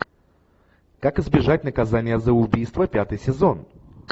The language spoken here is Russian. как избежать наказания за убийство пятый сезон